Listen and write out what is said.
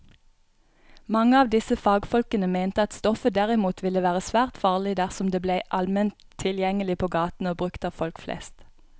Mange av disse fagfolkene mente at stoffet derimot ville være svært farlig dersom det ble allment tilgjengelig på gaten og brukt av folk flest.